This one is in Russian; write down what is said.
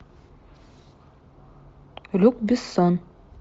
люк бессон